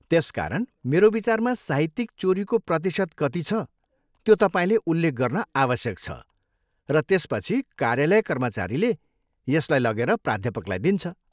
त्यसकारण, मेरो विचारमा साहित्यिक चोरीको प्रतिशत कति छ त्यो तपाईँले उल्लेख गर्न आवश्यक छ, र त्यसपछि कार्यालय कर्मचारीले यसलाई लगेर प्राध्यापकलाई दिन्छ।